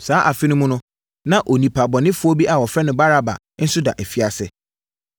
Saa afe no mu, na onipa bɔnefoɔ bi a wɔfrɛ no Baraba nso da afiase.